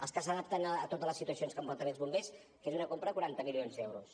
els que s’adapten a totes les situacions que poden tenir els bombers que és una compra de quaranta milions d’euros